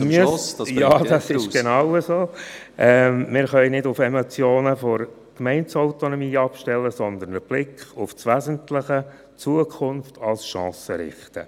– Wir können nicht auf Emotionen bezüglich der Gemeindeautonomie abstellen, sondern sollten den Blick auf das Wesentliche, Zukunft als Chance, richten.